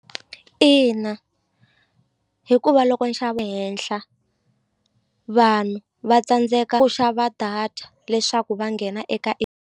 Ina, hikuva loko henhla vanhu va tsandzeka ku xava data leswaku va nghena eka .